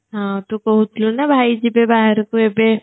ହଁ ତୁ କହୁଥିଲୁ ନା ଭାଇ ଯିବେ ବାହରକୁ ଏବେ